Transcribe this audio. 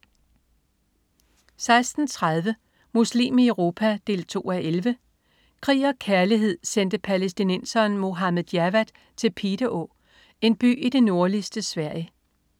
16.30 Muslim i Europa 2:11. Krig og kærlighed sendte palæstinenseren Mohammad Jawad til Piteå, en by i det nordligste Sverige